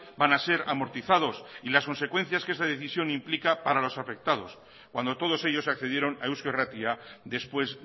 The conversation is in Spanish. van a ser amortizados y las consecuencias que esa decisión implica para los afectados cuando todos ellos accedieron a eusko irratia después